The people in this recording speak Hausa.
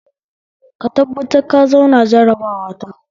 Ka tabbatar ka zauna jarabawa ta